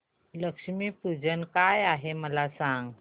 लक्ष्मी पूजन काय आहे मला सांग